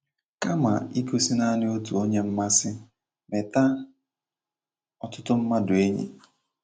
Kama igosi nanị otu onye mmasị, meta otụtụ mmadu enyi